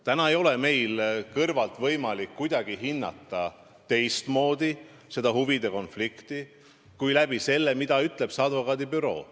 Täna ei ole meil seda huvide konflikti kõrvalt võimalik hinnata kuidagi teistmoodi, kui lähtudes sellest, mida ütleb see advokaadibüroo.